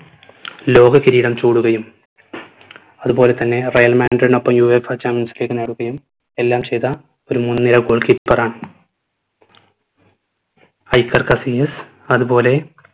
ലോക കിരീടം ചൂടുകയും അത് പോലെ തന്നെ റയൽ മാഡ്രിഡിനൊപ്പം UEFA champions league നേടുകയും എല്ലാം ചെയ്ത ഒരു മുൻ നിര goal keeper ആണ് ഹൈപ്പർ കസീനിയസ് അത് പോലെ